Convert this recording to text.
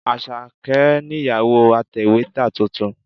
Àṣàkẹ́ nìyàwó atẹ̀wétà tuntun.